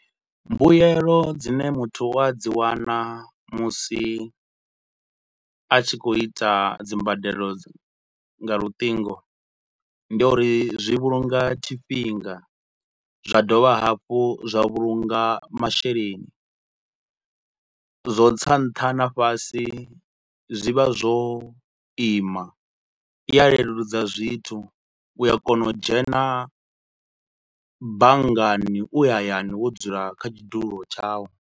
Mbuyelo dzine muthu u a dzi wana musi a tshi khou ita dzi mbadelo dza, nga luṱingo ndi uri zwi vhulunga tshifhinga, zwa dovha hafhu zwa vhulunga masheleni, zwa u tsa nṱha na fhasi zwi vha zwo ima. I a leludza zwithu, u a kona u dzhena banngani u hayani wo dzula kha tshidulo tshau.